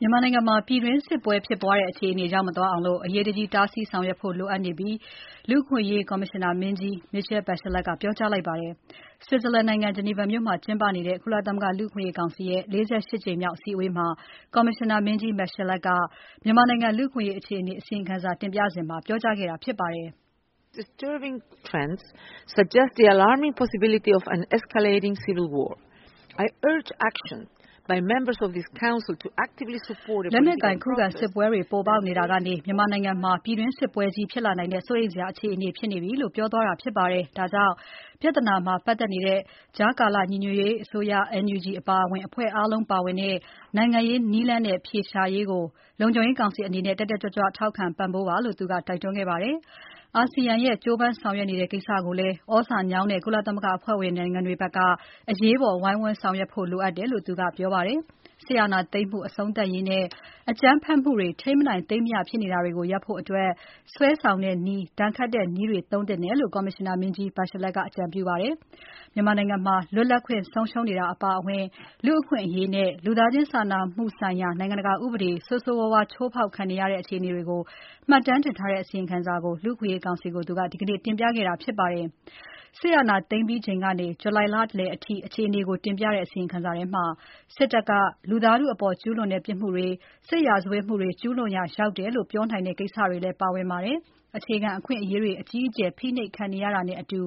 မြန်မာနိုင်ငံမှာ ပြည်တွင်းစစ်ဖြစ်တဲ့ အခြေအနေမရောက်အောင် အရေးတကြီး တားဆီးဆောင်ရွက်ဖို့ လိုအပ်နေပြီလို့ လူ့အခွင့်အရေးဆိုင်ရာ ကော်မရှင်နာမင်းကြီး Michelle Bachelet ကပြောကြားလိုက်ပါတယ်။ Switzerland နိုင်ငံ Geneva မြို့မှာ ကျင်းပနေတဲ့ ကုလသမဂ္ဂလူ့အခွင့်အရေးကောင်စီရဲ့ ၄၈ ကြိမ်မြောက်အစည်းအဝေးမှာ ကော်မရှင်နာမင်းကြီး Bachelet က မြန်မာနိုင်ငံ လူ့အခွင့်အရေး အခြေအနေ အစီရင်ခံစာတင်ပြစဉ်မှာ ပြောကြားခဲ့တာဖြစ်ပါတယ်။ "လက်နက်ကိုင် ခုခံစစ်ပွဲတွေ ပေါ်ပေါက်နေတာကနေ မြန်မာနိုင်ငံမှာ ပြည်တွင်းစစ်ပွဲကြီးဖြစ်လာနိုင်တဲ့ စိုးရိမ်စရာဖြစ်နေပြီ" လို့ိ ပြောသွားတာဖြစ်ပါတယ်။ ဒါကြောင့် ကြားကာလ အမျိုးသားညီညွတ်ရေးအစိုးရ NUG အပါအဝင် ပြဿနာမှာ ပတ်သက်နေတဲ့ အဖွဲ့အားလုံးပါဝင်တဲ့ နိုင်ငံရေးနည်းလမ်းနဲ့ အဖြေရှာရေးကို လုံခြုံရေးကောင်စီအနေနဲ့ တက်တက်ကြွကြွ ထောက်ခံပံ့ပိုးပါလို့ သူက တိုက်တွန်းခဲ့ပါတယ်။ အာဆီယံက ကြိုးပမ်းဆောင်ရွက်နေတဲ့ကိစ္စကိုလည်း သြဇာညောင်းတဲ့ ကုလသမဂ္ဂအဖွဲ့ဝင်နိုင်ငံတွေက အရေးပေါ် ဝိုင်းဝန်းဆောင်ရွက်ဖို့လိုအပ်တယ်လို့ သူကပြောပါတယ်။ စစ်အာဏာသိမ်းမှု အဆုံးသတ်ရေးနဲ့ အကြမ်းဖက်မှုတွေ ထိမ်းမနိုင် သိမ်းမရဖြစ်နေတာကို ရပ်နိုင်ဖို့အတွက် စွဲဆောင်တဲ့နည်း၊ ဒဏ်ခတ်တဲ့နည်းတွေသုံးသင့်တယ်လို့ ကော်မရှင်နာမင်းကြီး Bachelet က အကြံပြုခဲ့ပါတယ်။ မြန်မာနိုင်ငံ လွတ်လပ်ခွင့်ဆုံးရှုံးနေတာအပါအဝင် လူ့အခွင့်အရေးနဲ့ လူသားချင်းစာနာမှုဆိုင်ရာ နိုင်ငံတကာ ဥပဒေ ဆိုးဆိုးဝါးဝါး ချိုးဖောက်ခံနေရတဲ့ အခြေအနေတွေကို မှတ်တမ်းတင်ထားတဲ့ အစီရင်ခံစာကို လူ့အခွင့်အရေးကောင်စီကို သူက ဒီနေ့တင်ပြခဲ့တာဖြစ်ပါတယ်။ စစ်အာဏာသိမ်းပြီးချိန်ကနေ ဇူလိုင်လလယ်အထိ အခြေအနေကိုတင်ပြတဲ့ အစီရင်ခံစာထဲမှာ စစ်တပ်က လူသားထုအပေါ် ကျူးလွန်တဲ့ပြစ်မှုတွေ၊ စစ်ရာဇဝတ်မှုတွေ ကျူးလွန်ရာရောက်တယ်လို့ ပြောနိုင်တဲ့ကိစ္စတွေလည်း ပါဝင်ပါတယ်။ အခြေခံအခွင့်အရေးတွေ အကြီးအကျယ် ဖိနှိပ်ခံနေရတာနဲ့အတူ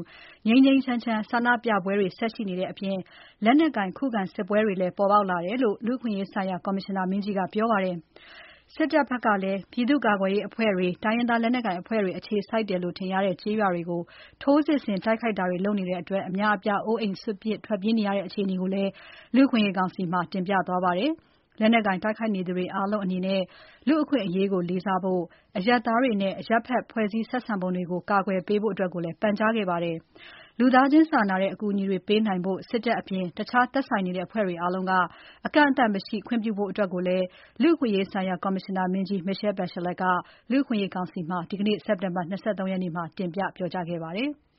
ငြိမ်းငြိမ်းချမ်းချမ်း ဆန္ဒပြပွဲတွေ ဆက်ရှိနေတဲ့အပြင် လက်နက်ကိုင် ခုခံစစ်ပွဲတွေလည်း ပေါ်ပေါက်လာတယ်လို့ လူ့အခွင့်အရေးဆိုင်ရာ ကော်မရှင်နာမင်းကြီးက ပြောပါတယ်။ စစ်တပ်ဘက်ကလည်း ပြည်သူ့ကာကွယ်ရေးအဖွဲ့တွေ၊ တိုင်းရင်းသားလက်နက်ကိုင်အဖွဲ့တွေ အခြေစိုက်တယ်လို့ထင်ရတဲ့ ကျေးရွာတွေကို ထိုးစစ်ဆင်တိုက်ခိုက်တာတွေ လုပ်နေတဲ့အတွက် အများအပြား အိုးအိမ်စွန့်ပစ် ထွက်ပြေးနေရတဲ့ အခြေအနေကိုလည်း လူ့အခွင့်အရေးကောင်စီမှာ တင်ပြသွားပါတယ်။ လက်နက်ကိုင် တိုက်ခိုက်နေကြသူတွေအားလုံးအနေနဲ့ လူ့အခွင့်အရေးကို လေးစားဖို့နဲ့၊ စစ်ရေးပစ်မှတ်မဟုတ်တဲ့ အရပ်ဖက်နဲ့ဆိုင်တာတွေကို ကာကွယ်ပေးဖို့လည်း ပန်ကြားခဲ့ပါတယ်။ လူသားချင်းစာနာတဲ့ အကူအညီတွေပေးနိုင်ဖို့ စစ်တပ်အပြင် တခြားသက်ဆိုင်နေတဲ့ အဖွဲ့တွေအားလုံးက အကန့်အသတ်မရှိ ခွင့်ပြုဖို့အတွက်ကိုလည်း လူ့အခွင့်အရေးဆိုင်ရာ ကော်မရှင်နာမင်းကြီး Michelle Bachelet က လူ့အခွင့်အရေးကောင်စီမှာ ဒီနေ့ စက်တင်ဘာ ၂၃ ရက်မှာ တင်ပြပြောကြားခဲ့ပါတယ်။